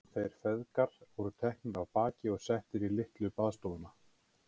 Þeir feðgar voru teknir af baki og settir í litlu baðstofuna.